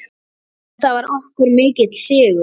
Þetta var okkur mikill sigur.